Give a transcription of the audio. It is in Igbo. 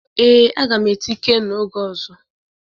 ee, a ga m eti Ikenna oge ozo